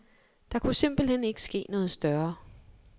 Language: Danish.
Der kunne simpelt hen ikke ske noget større.